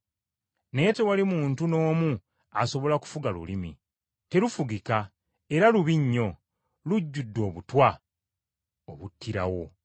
naye tewali muntu n’omu asobola kufuga lulimi. Terufugika era lubi nnyo, lujjudde obutwa obuttirawo.